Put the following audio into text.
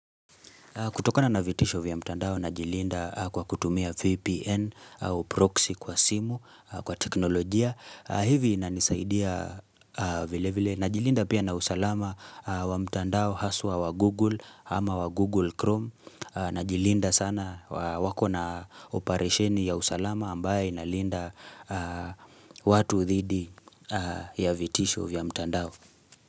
Kutokana na vitisho vya mtandao najilinda kwa kutumia VPN au proxy kwa simu, kwa teknolojia, hivi inanisaidia vile vile. Na jilinda pia na usalama wa mtandao haswa wa Google ama wa Google Chrome. Na jilinda sana wako na oparesheni ya usalama ambayo inalinda watu dhidi ya vitisho vya mtandao.